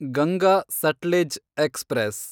Ganga Sutlej express